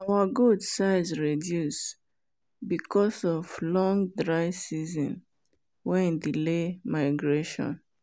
our goat size reduce because long dry season wen delay migration